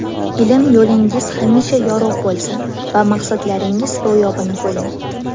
Ilm yo‘lingiz hamisha yorug‘ bo‘lsin va maqsadlaringiz ro‘yobini ko‘ring!